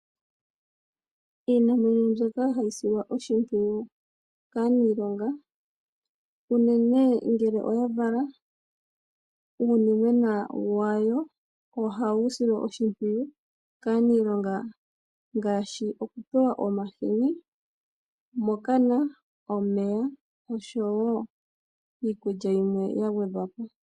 Iinamwenyo ombyoka hayi silwa oshimpwiyu kaaniilonga uunene ngele oya vala uunimwena wayo, ohawu silwa oshimwiyu kaaniilonga ngaashi, okupewa omahini mokana omeya noshowo iikulya yimwe yagwedhwa po.